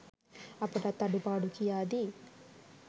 අපටත් අඩුපාඩු කියාදී